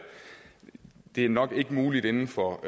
det er nok ikke muligt inden for